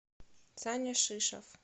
саня шишов